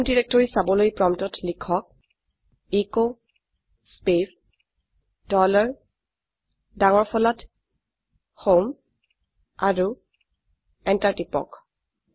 home directory চাবলৈ প্ৰম্পটত লিখকecho স্পেচ ডলাৰ ডাঙৰ ফলাত হোম আৰু এন্টাৰ টিপক